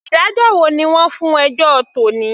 Ìdájọ́ wo ni wọ́n fún ẹjọ́ tòní.